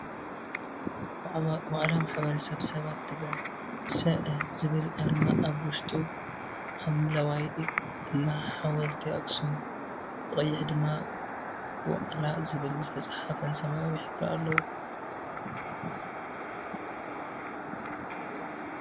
ዋዕላ ማሕበረ- ሰባት ትግራይ ሰ.ኣ. ዝብል ኣርማ ኣብ ውሽጡ ሓምለዋይ እና ሓወልቲ ኣክሱም ብቀይሕ ድማ ዋዕላ ዝብል ዝተፅሓፈን ሰማያው ሕብሪ ኣለዎ።